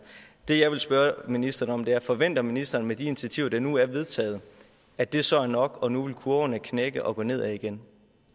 det jeg vil spørge ministeren om er forventer ministeren med de initiativer der nu er vedtaget at det så er nok og at nu vil kurverne knække og gå nedad igen